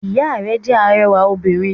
Ìya rẹ̀ jẹ́ arẹwà obìnrin